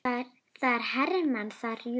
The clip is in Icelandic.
Það eru hermenn þar, jú.